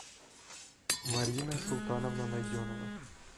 марина султановна найденова